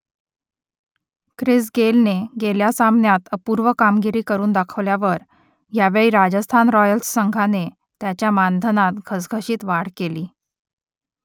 Chris गेलने गेल्या सामन्यात अपूर्व कामगिरी करून दाखवल्यावर यावेळी राजस्थान रॉयल्स संघाने त्याच्या मानधनात घसघशीत वाढ केली